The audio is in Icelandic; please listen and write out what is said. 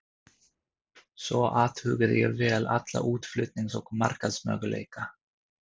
Svo athugaði ég vel alla útflutnings- og markaðsmöguleika.